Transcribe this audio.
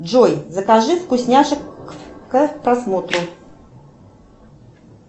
джой закажи вкусняшек к просмотру